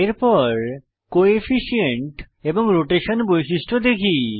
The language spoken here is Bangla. এরপর কোফিশিয়েন্ট এবং রোটেশন বৈশিষ্ট্য দেখি